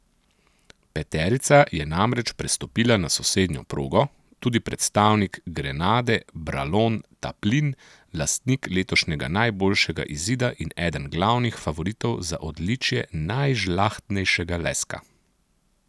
Peterica je namreč prestopila na sosednjo progo, tudi predstavnik Grenade Bralon Taplin, lastnik letošnjega najboljšega izida in eden glavnih favoritov za odličje najžlahtnejšega leska.